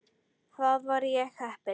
Þar var ég heppinn